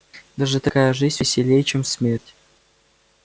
даже такая жизнь веселей чем смерть